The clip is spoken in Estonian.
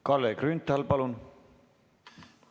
Kalle Grünthal, palun!